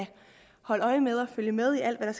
holde øje med dem og følge med i alt hvad